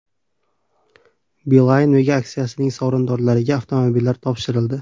Beeline Mega Aksiyasining sovrindorlariga avtomobillar topshirildi.